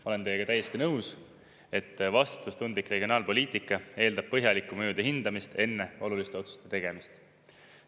Ma olen teiega täiesti nõus, et vastutustundlik regionaalpoliitika eeldab põhjalikku mõjude hindamist enne oluliste otsuste tegemist.